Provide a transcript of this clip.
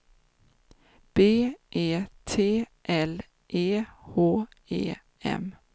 B E T L E H E M